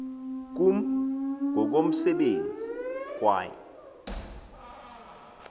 kum ngokomsebenzi kwaye